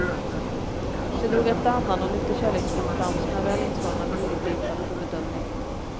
De drog efter andan och lyfte kärleksfullt fram sina väl inslagna dyrgripar för bedömning.